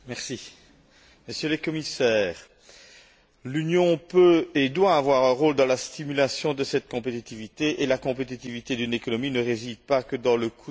Monsieur le Commissaire, l'Union peut et doit avoir un rôle dans la stimulation de cette compétitivité et la compétitivité d'une économie ne réside pas uniquement dans le coût du salaire.